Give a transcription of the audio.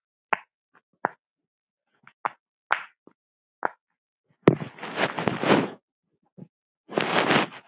Ég skil þetta bara ekki.